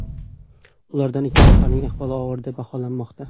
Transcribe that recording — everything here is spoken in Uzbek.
Ulardan ikki nafarining ahvoli og‘ir deb baholanmoqda.